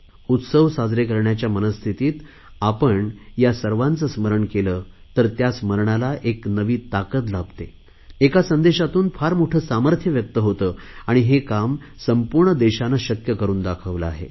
उत्सव साजरे करण्याच्या मनस्थितीत आपण या सर्वांचे स्मरण केले तर त्या स्मरणाला एक नवी ताकत लाभते एका संदेशातून फार मोठे सामर्थ्य व्यक्त होते आणि हे काम संपूर्ण देशाने शक्य करुन दाखवले आहे